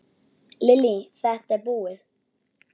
Lillý:. þetta búið?